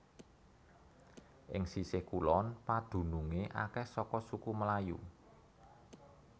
Ing sisih kulon padunungé akèh saka suku Melayu